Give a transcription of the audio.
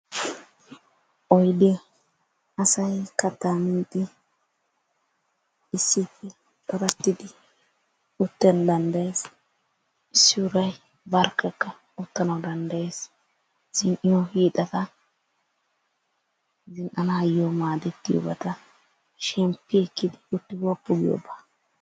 Oyddiya asay katta miidi issippe corattidi uttana danddayees. Issi uray barkakka uttanaw danddayees. Zan"iyo hiixata, zin"anayyo maaddetiyoobata shemppi ekkidi utti woppu giyoobaa.